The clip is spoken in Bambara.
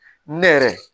Ne yɛrɛ